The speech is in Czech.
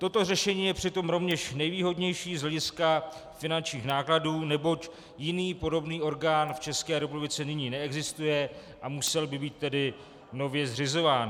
Toto řešení je přitom rovněž nejvýhodnější z hlediska finančních nákladů, neboť jiný podobný orgán v České republice nyní neexistuje, a musel by být tedy nově zřizován.